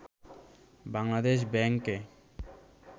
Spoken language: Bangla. বাংলাদেশ ব্যাংকে